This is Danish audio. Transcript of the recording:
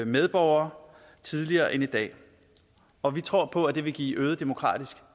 medborgere tidligere end i dag og vi tror på at det vil give øget demokratisk